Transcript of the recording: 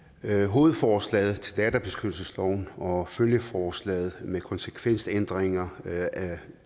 hovedforslaget til databeskyttelsesloven og følgeforslaget med konsekvensændringer